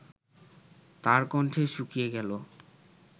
তার কণ্ঠ শুকিয়ে গেল